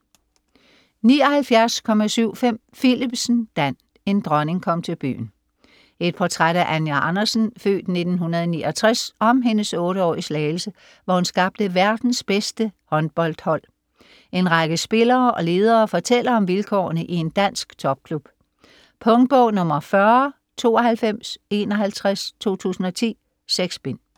79.75 Philipsen, Dan: En dronning kom til byen Et portræt af Anja Andersen (f. 1969), om hendes otte år i Slagelse, hvor hun skabte verdens bedste håndboldhold. En række spillere og ledere fortæller om vilkårene i en dansk topklub. Punktbog 409251 2010. 6 bind.